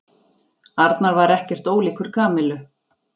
Arnar var ekkert ólíkur Kamillu.